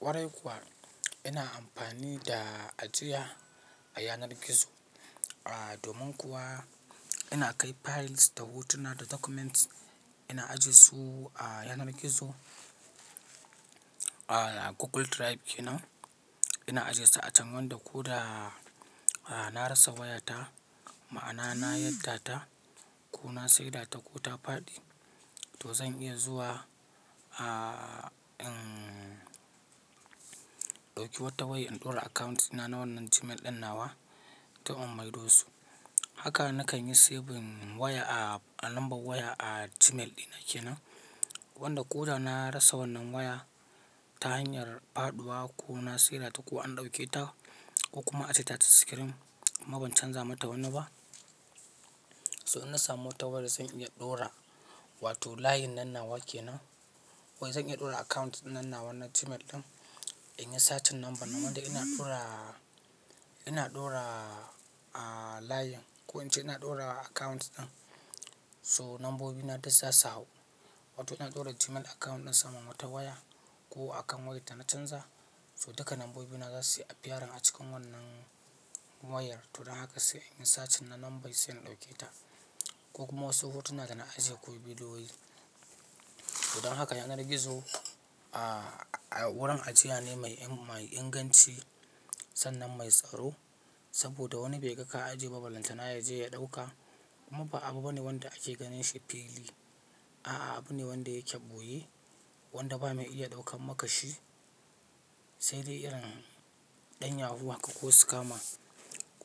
Kwarai kuwa ina amfani da ajiya a yanar gizo. Domin kuwa ina kai files da hotuna da documents ina ajiyesu a yanar gizo, a Google Drive kenan. Ina ajiyesu a can wanda ko da na rasa wayata, ma'ana na yadda ta ko na sayar ta ko ta faɗi, to zan iya zuwa, in ɗauki wata waya in ɗora account dina na wannan Gmail ɗin nawa duk in mai dosu. Haka na kan yi saving waya a lambar waya a Gmail dina kenan. Wanda ko da na rasa wannan waya ta hanyar faɗuwa ko na sayar ta ko an ɗauke ta ko kuma ace ta ta screen, amma ban canza mata wani ba. So in na samu wata waya zan iya ɗora, wato layin nanna wa kenan. Wai zan iya ɗora account dinnanna wannan Gmail ɗin. In yi sacin namba, nan da ina ɗora, ina ɗora line. Ko in ce ina ɗora account ɗin, so nombobi na duk za su hawu. Wato ina ɗora Gmail account ɗin saman wata waya ko a kan wayar da na canza. So duka nambobi na za su yi appearing a cikin wannan wayar. To don haka sai in yi sace na lambai sai in ɗauke ta. Ko kuma wasu hotuna da na ajiye ko bidiyoyi. To don haka yanar gizo, wurin ajiya ne mai inganci sannan mai tsaro. Saboda wani bai ga ka ajiye ba, balanta ma ya je ya ɗauka. Amma ba abu bane wanda ake ganin a shi fili. A'a, abu ne wanda yake ɓoye, wanda ba mai iya ɗaukan makashi sai dai irin ɗan yahoo ha ka ko scammer.